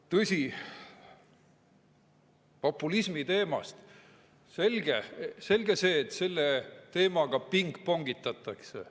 Tõsi, selge on see, et populismi teemaga pingpongitatakse.